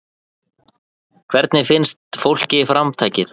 Hvernig finnst fólki framtakið?